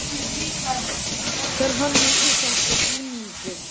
Hver hannar íslenska búninginn?